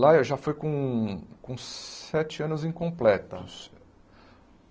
Lá eu já fui com com sete anos incompletos.